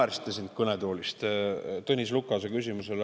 Te naersite siit kõnetoolist Tõnis Lukase küsimuse üle.